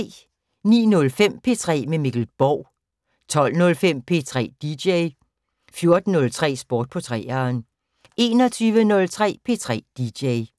09:05: P3 med Mikkel Borg 12:05: P3 dj 14:03: Sport på 3'eren 21:03: P3 dj